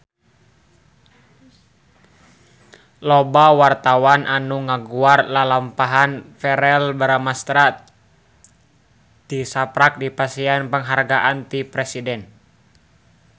Loba wartawan anu ngaguar lalampahan Verrell Bramastra tisaprak dipasihan panghargaan ti Presiden